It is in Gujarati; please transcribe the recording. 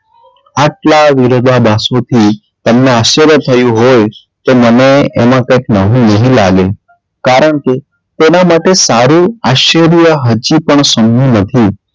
આટલાં વિરોધાભાસોથી તેમને આશ્ચર્ય થયું હોય તો મને એમાં કઈ નવું નહીં લાગે કારણ કે તેનાં માટે સારું આશ્ચર્ય હજુ પણ નથી.